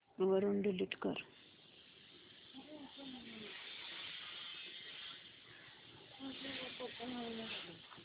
वरून डिलीट कर